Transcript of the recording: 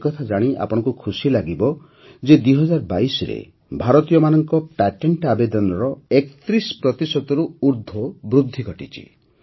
ଏକଥା ଜାଣି ଆପଣଙ୍କୁ ଖୁସି ଲାଗିବ ଯେ ୨୦୨୨ରେ ଭାରତୀୟମାନଙ୍କ ପ୍ୟାଟେଂଟ ଆବେଦନରେ ୩୧ ପ୍ରତିଶତରୁ ଊର୍ଦ୍ଧ୍ୱ ବୃଦ୍ଧି ଘଟିଛି